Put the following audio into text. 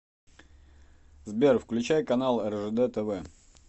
сбер включай канал ржд тв